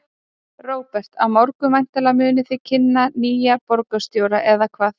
Róbert: Á morgun væntanlega munið þið kynna nýjan borgarstjóra, eða hvað?